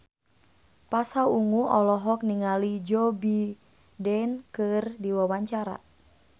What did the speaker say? Pasha Ungu olohok ningali Joe Biden keur diwawancara